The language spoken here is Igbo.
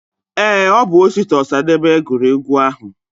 Ee, Obu Osita Osadebe guru egwu ahu.